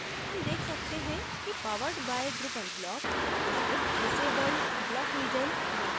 हम देख सकते हैं कि powered by drupal block अब disabled block region में है